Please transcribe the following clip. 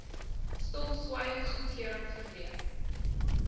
stilswyend goedkeuring verleen